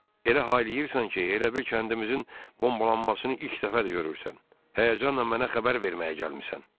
Elə hay eləyirsən ki, elə bil kəndimizin bombalanmasını ilk dəfədir görürsən, həyəcanla mənə xəbər verməyə gəlmisən.